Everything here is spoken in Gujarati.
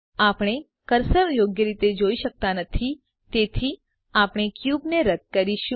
આપણે કર્સર યોગ્ય રીતે જોઈ શક્તા નથી તેથી આપણે ક્યુબને રદ કરીશું